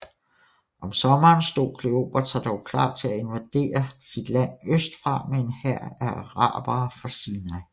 Om sommeren stod Kleopatra dog klar til at invadere sit land østfra med en hær af arabere fra Sinai